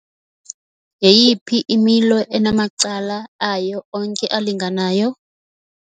Yeyiphi imilo enamacala ayo onke alinganayo?